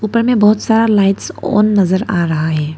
ऊपर में बहुत सारा लाइट्स ऑन नजर आ रहा है।